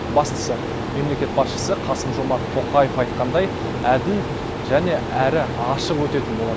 бастысы мемлекет басшысы қасым жомарт тоқаев айтқандай әділ және әрі ашық өтетін болады